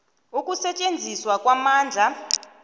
c ukusetjenziswa kwamandla